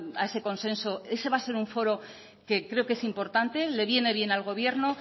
a ese consenso ese va a ser un foro que creo que es importante le viene bien al gobierno